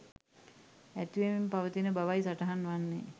ඇතිවෙමින් පවතින බවයි සටහන් වන්නේ.